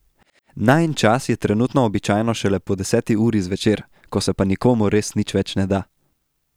Najin čas je trenutno običajno šele po deseti uri zvečer, ko se pa nikomur res nič več ne da.